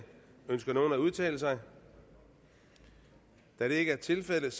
ønsker nogen at udtale sig da det ikke er tilfældet